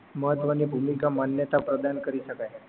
મહત્વ ની ભૂમિકા માન્યતા પ્રદાન કરી શકાઈ